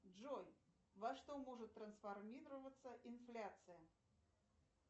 джой во что может трансформироваться инфляция